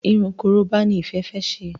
Irun koroba ní Ìfẹ fè ṣe.